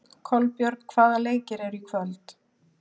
Kolbjörg, hvaða leikir eru í kvöld?